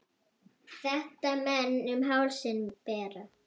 Þetta menn um hálsinn bera.